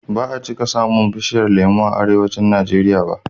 Ba a cika samun bishiyar lemo a Arewacin Najeriya ba.